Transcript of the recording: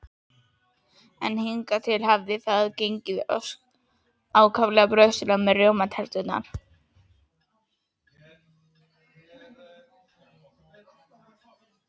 En hingað til hafði það gengið ákaflega brösulega með rjómaterturnar.